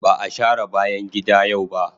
Ba a share bayan gida yau ba.